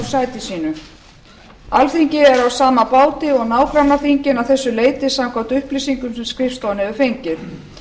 sæti sínu alþingi er á sama báti og nágrannaþingin að þessu leyti samkvæmt upplýsingum sem skrifstofan hefur fengið